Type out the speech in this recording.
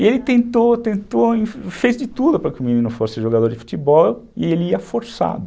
E ele tentou, tentou, fez de tudo para que o menino fosse jogador de futebol e ele ia forçado.